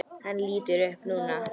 Hann lítur upp núna.